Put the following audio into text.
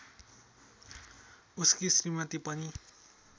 उसकी श्रीमती पनि